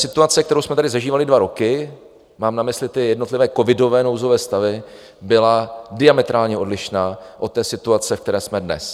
Situace, kterou jsme tady zažívali dva roky, mám na mysli ty jednotlivé covidové nouzové stavy, byla diametrálně odlišná od té situace, ve které jsme dnes.